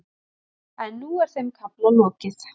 En nú er þeim kafla lokið.